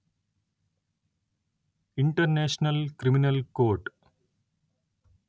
international criminal court